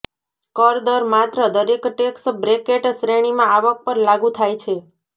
કર દર માત્ર દરેક ટેક્સ બ્રેકેટ શ્રેણીમાં આવક પર લાગુ થાય છે